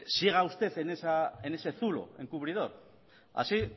siga usted en ese zulo encubridor así